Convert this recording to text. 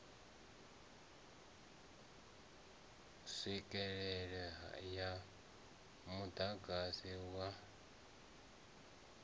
tswikelele ya muḓagasi wa grid